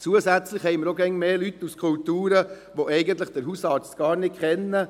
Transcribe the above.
Zusätzlich haben wir auch immer mehr Leute aus Kulturen, die den Hausarzt eigentlich gar nicht kennen.